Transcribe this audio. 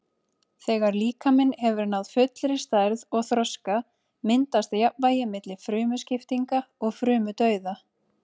Þegar líkaminn hefur náð fullri stærð og þroska myndast jafnvægi milli frumuskiptinga og frumudauða.